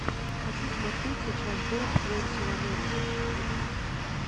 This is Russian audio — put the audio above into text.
хочу смотреть сейчас доуп твенти ван элеван ютуб